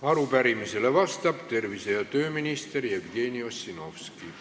Arupärimisele vastab tervise- ja tööminister Jevgeni Ossinovski.